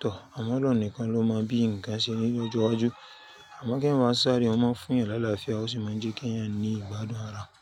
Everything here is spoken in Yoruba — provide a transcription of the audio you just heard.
Tọ̀, àmàlù nìkan ló máa ń bí ǹkan ṣe lọ́jọ́ iwájú. Àmọ́ kí èèyàn máa sáré, ó máa ń fún èèyàn lálá fún ẹ, ó sì máa ń jẹ́ kí èèyàn ní ìgbádùn ara.